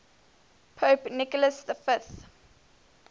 pope nicholas v